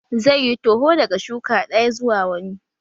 Zai yi toho daga shuka ɗaya zuwa wani